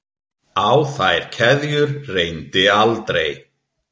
Á þær keðjur reyndi aldrei.